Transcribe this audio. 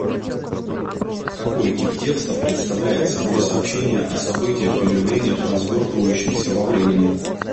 какой тип текста представляет собой сообщение о событиях и явлениях развертывающихся во времени